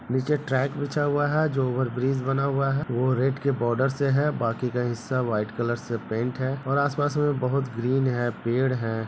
नीचे ट्रैक बिछा हुआ है जो ओवरब्रिज बना हुआ है वो रेड के बॉर्डर से है बाकी का हिस्सा व्हाइट कलर से पेंट और आस-पास में बहोत ग्रीन है पेड़ है।